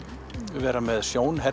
vera með